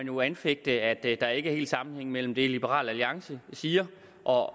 jo anfægtes at der ikke helt er sammenhæng mellem det liberal alliance siger og